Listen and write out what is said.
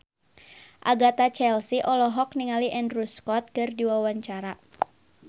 Agatha Chelsea olohok ningali Andrew Scott keur diwawancara